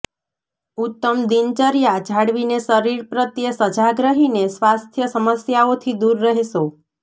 ઉત્તમ દિનચર્યા જાળવીને શરીર પ્રત્યે સજાગ રહીને સ્વાસ્થ્ય સમસ્યાઓથી દૂર રહેશો